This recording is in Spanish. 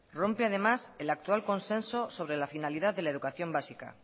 rompe además el actual consenso sobre la finalidad de la educación básica